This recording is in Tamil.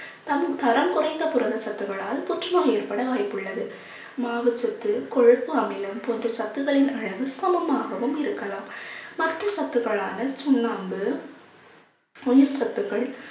தன் தரம் குறைந்த புரதச் சத்துகளால் புற்றுநோய் ஏற்பட வாய்ப்புள்ளது. மாவுச்சத்து கொழுப்பு அமிலம் போன்ற சத்துக்களின் அளவு சமமாகவும் இருக்கலாம். மற்ற சத்துக்களான சுண்ணாம்பு உயிர் சத்துக்கள்